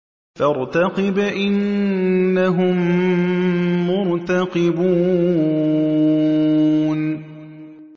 فَارْتَقِبْ إِنَّهُم مُّرْتَقِبُونَ